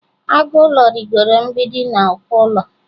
Agụ ụlọ rịgooro mgbidi na uko ụlọ.